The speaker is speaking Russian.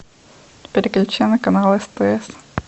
переключи на канал стс